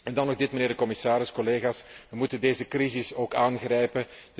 Dan nog dit, mijnheer de commissaris, collega's, wij moeten deze crisis ook aangrijpen.